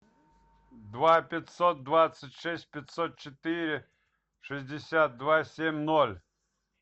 два пятьсот двадцать шесть пятьсот четыре шестьдесят два семь ноль